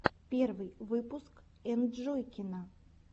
первый выпуск энджойкина